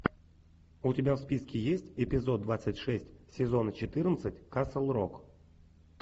у тебя в списке есть эпизод двадцать шесть сезона четырнадцать касл рок